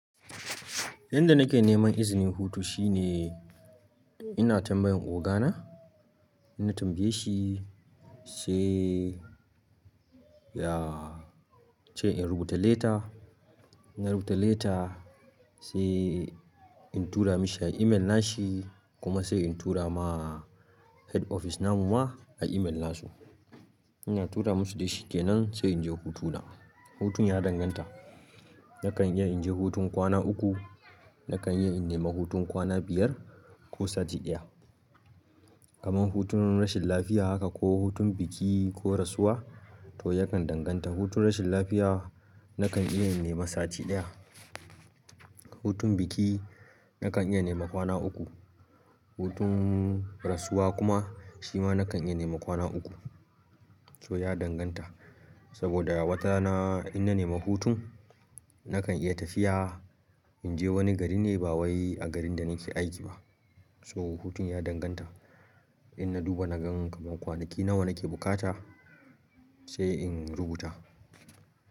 Inda nake neman izinin hutu shine ina tambayan ogana, ina tambaye shi sai ya ce in rubuta leta. Ina rubuta leta sai in tura mashi a email nashi kuma sai in tura ma head office namu ma a email nasu. Ina tura musu dai shi kenan sai inje hutuna. Hutun ya danganta. Nakan iya inje hutun kwana uku, nakan iya in nema hutun kwana biyar ko sati ɗaya. Kaman hutun rashin lafiya haka ko hutun biki ko rasuwa to yakan danganta. Hutun rashin lafiya nakan iya in nema sati ɗaya. Hutun biki nakan iya nema kwana uku. Hutun rasuwa kuma shi ma nakan iya nema kwana uku. So ya danganta saboda wata rana in na nema hutun nakan iya tafiya inje wani gari ne ba wai a garin da nake aiki ba. So hutun ya danganta. In na duba na gan kaman kwanaki nawa nake bukata sai in rubuta.